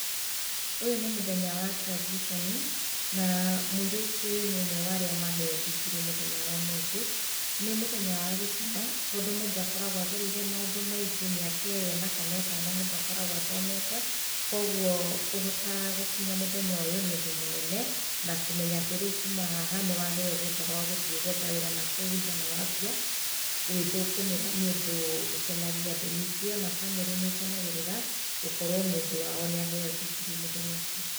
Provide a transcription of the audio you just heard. Ũyũ nĩ mũthenya wa graduation na mũirĩtu ũyũ nĩ ũmwe wa arĩa maheo ndigirii mũthenya wa ũmũthĩ. Nĩ mũthenya wa gĩkeno tondũ mũndũ akoragwo agereire maũndũ maingĩ mĩaka ĩyo ĩna kana ĩtano mũndũ akoragwo athomete. Kwoguo kũhota gũkinya mũthenya ũyũ nĩ ũndũ mũnene na kũmenya atĩ rĩu kuma haha nĩwaheo rũtha rwa gũthiĩ gwetha wĩra nakũu nja na wanjia gwithũkũmĩra nĩ ũndũ ũkenagie andũ, ningĩ bamĩrĩ nĩ ĩkenagĩrĩra gũkorwo mũndũ wao nĩ aheo ndigirii mũthenya ũcio.